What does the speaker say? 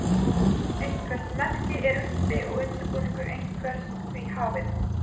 eitthvert merki er uppi og undirbúningur einhvers því hafinn